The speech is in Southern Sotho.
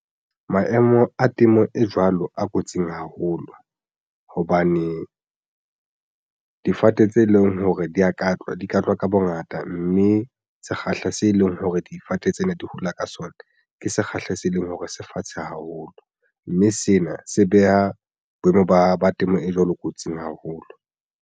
Maemo a temo e jwalo a kotsing haholo hobane difate tse leng hore di ya katlwa di ka tlwa ka bongata, mme sekgahla se leng hore difate tsena di hola ka sona ke sekgahla se leng hore se fatshe haholo, mme sena se beha boemo ba temo e jwalo kotsing haholo.